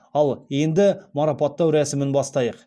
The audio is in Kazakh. ал енді марапаттау рәсімін бастайық